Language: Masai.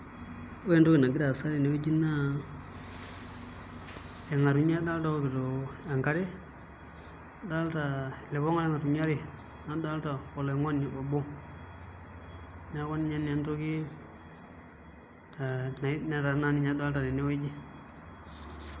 Ore entoki nagira aasa tenewueji naa irng'atunyo adolita ookito enkare, adolta ilipong'a orngatunyo aaare nadolta oloing'oni obo neeku ninye naa entoki netaa naa adolta tenewueji.